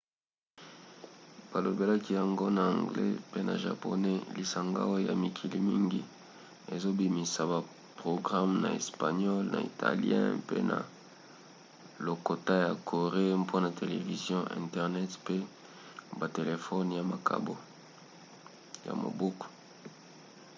balobelaki yango na anglais pe na japonais lisanga oyo ya mikili mingi ezobimisa baprograme na espagnole na italien pe na lokota ya corée mpona television internet pe batelefone ya maboko